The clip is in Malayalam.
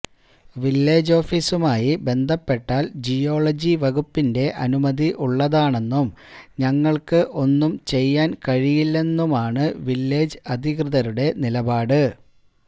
വില്ലേജ് ഓഫിസുമായി ബന്ധപ്പെട്ടാല് ജിയോളജി വകുപ്പിന്റെ അനുമതി ഉള്ളതാണെന്നും ഞങ്ങള്ക്ക് ഒന്നും ചെയ്യാന് കഴിയില്ലെന്നുമാണ് വില്ലേജ് അധികൃതരുടെ നിലപാട്